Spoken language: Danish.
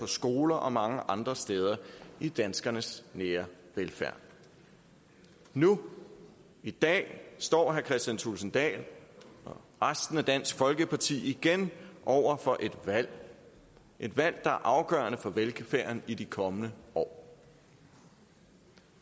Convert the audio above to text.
skoler og mange andre steder i danskernes nære velfærd nu i dag står herre kristian thulesen dahl og resten af dansk folkeparti igen over for et valg et valg der er afgørende for velfærden i de kommende år